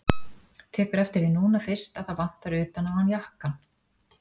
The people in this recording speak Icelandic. Tekur eftir því núna fyrst að það vantar utan á hann jakkann.